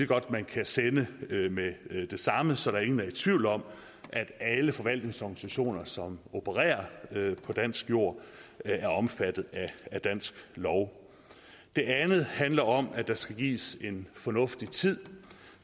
godt man kan sende med det samme så ingen er i tvivl om at alle forvaltningsorganisationer som opererer på dansk jord er omfattet af dansk lov det andet handler om at der skal gives organisationer en fornuftig tid